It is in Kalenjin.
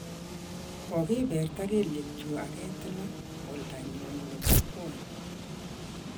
Kogiberta kelyekchuuk aketila oldanyu nebo kwony